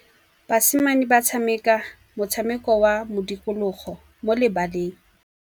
Basimane ba tshameka motshameko wa modikologô mo lebaleng.